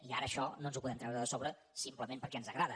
i ara això no ens ho podem treure de sobre simplement perquè ens agrada